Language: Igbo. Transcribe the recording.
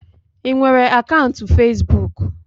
I nwere akaụntụ fesbụụk?